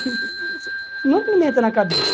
Não é que não me entra na cabeça.